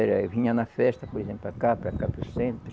Era eu vinha na festa, por exemplo, para cá, para cá, para o centro.